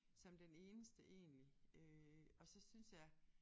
Som den eneste egentlig øh og så synes jeg